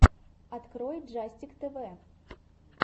открой джастик тэвэ